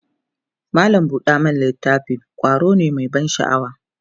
mallam buɗe littafi ƙwaro ne Mai ban sha'awa